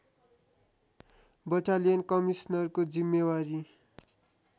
battalion कमिसनरको जिम्मेवारी